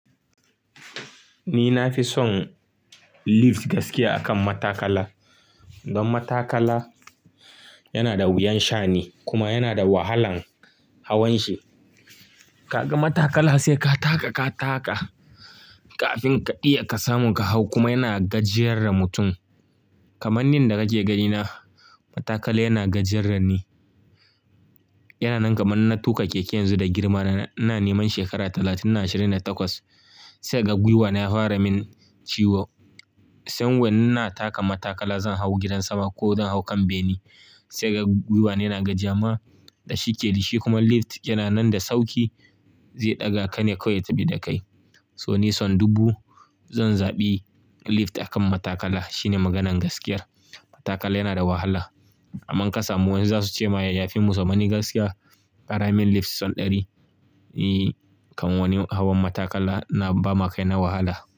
Ni na fi son lift gaskiya akan matakala. Don matakala yana da wuyan sha'ani kuma yana da wahalan hawan shi. Kaga matakala sai ka taka, ka taka kafin ka iya ka samu ka hau kuma yana gajiyar da mutum. Kaman ninda kake gani na matakala yana gajiyar da ni. Yana nan kaman na tuƙa keke yanzu da girma na. Ina neman shekara talatin na ashirin da takwas sai ga gwiwana ya fara min ciwo. Sai wani na taka matakala zan hau gidan sama ko zan hau kan bene sai ga gwiwana yana gajiya ma da shi ke yi shi kuma lift yana nan da sauki zai ɗaga ka ne kawai ya tafi da kai. To ni son dubu zan zaɓi lift akan matakala shine maganan gaskiyar. Matakala yana da wahala. Aman kasa mu wani zasu ce ma yafi musu amma ni gaskiya ƙara min lift sau ɗari. Eee kan wani hawan matakala na bama kai na wahala.